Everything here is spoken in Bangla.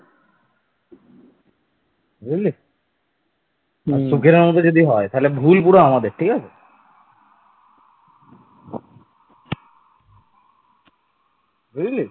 বুঝলি?